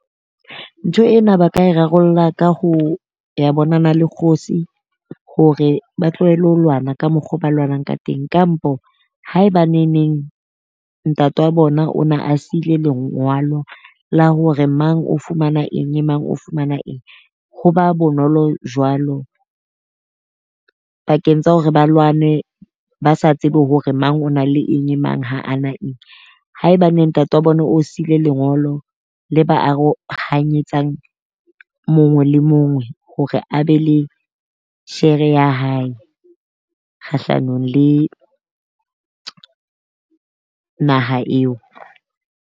Ntho ena ba ka e rarollla ka ho ya bonana le kgosi hore ba tlohele ho lwana ka mokgo ba lwanang ka teng, kampo haeba neneng ntate wa bona o na a siile lengwalo la hore mang o fumana eng, le mang o fumana eng. Ho ba bonolo jwalo pakeng tsa hore ba lwane ba sa tsebe hore mang o na le eng le mang ha ana eng. Haebaeng ntate wa bona o siile lengolo le ba arohanyetsang mongwe le mongwe hore a be le shere ya hae kgahlanong le naha eo.